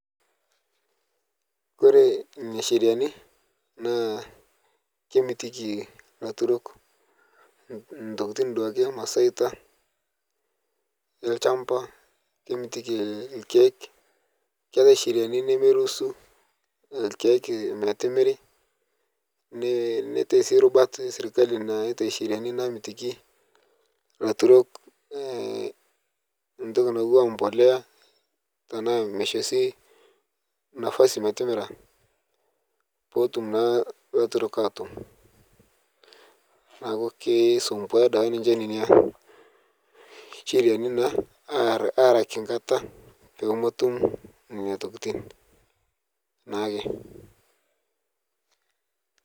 Kore nenia sheriani naa kemitiiki laturok ntokitin duake maasait, lchambaa, kemiitiki lkiek. Keetai sheriani nemeruhusi lkiek mee timiirii, neetai sii rubaat e sirikali naeta sheriani naamitiiki laturok eeh ntokii naiwua mbolea tana meishoo sii nafasi meetimiraa pootuum naa laturok atuum. Naaku keisumbua duake ninchee sheriani naa aaraki nkaata pee meetuum nenia ntokiitin naake.